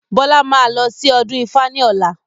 Bọlá máa lọ sí ọdún ifá ni ọ̀la.